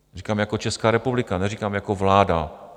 Říkám jako Česká republika, neříkám jako vláda.